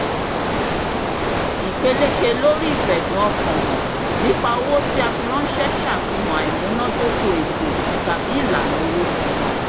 ìpeléke lóri ìfẹ̀dùn-ọkàn-hàn nípa owó tí a fi ránṣẹ́ ṣàfihàn àìmúnádóko ètò tàbí ìlànà owó sísan